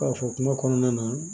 K'a fɔ kuma kɔnɔna na